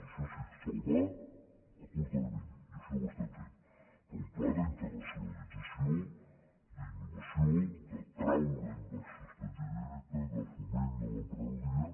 això sí salvar a curt termini i així ho estem fent però un pla d’internacio·nalització d’innovació d’atraure inversió estrangera de foment de l’emprenedoria